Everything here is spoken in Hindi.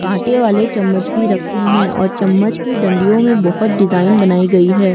कांटे वाले चमच भी रखे है और चमच की डंडियों में बहुत सी डिजाईन बनाई गई है।